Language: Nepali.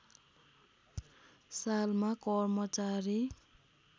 सालमा कर्मचारी